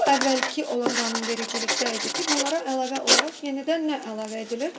Bu əvvəlki olan qanunvericilikdə idi ki, bunlara əlavə olaraq yenidən nə əlavə edilir?